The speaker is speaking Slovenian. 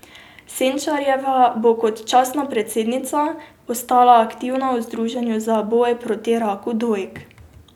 Senčarjeva bo kot častna predsednica ostala aktivna v združenju za boj proti raku dojk.